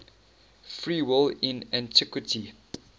free will in antiquity